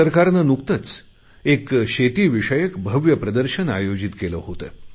भारत सरकारने नुकतेच एक शेतीविषयक भव्य प्रदर्शन आयोजित केले होते